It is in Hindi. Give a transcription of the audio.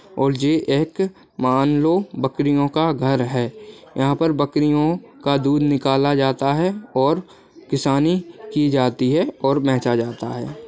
और ये एक मान लो बकरियों का घर है यहाँ पर बकरियों का दूध निकाला जाता है और किसानी की जाती है और बेचा जाता है।